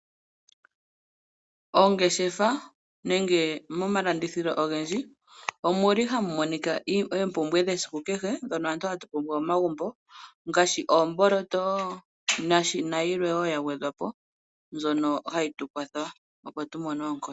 Oongeshefa nenge momalandithilo ogendji omuli hamu monika oompumbwe dhesiku kehe, dhono aantu hatu pumbwa momagumbo ngaashi oomboloto na yilwe wo ya gwedhwa po, mbyono hayi tu kwatha opo tu mone oonkondo.